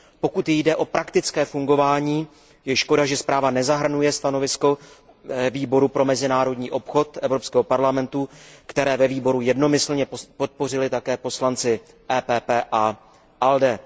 Pokud jde o praktické fungování, je škoda, že zpráva nezahrnuje stanovisko Výboru pro mezinárodní obchod Evropského parlamentu, které ve výboru jednomyslně podpořili také poslanci PPE a ALDE.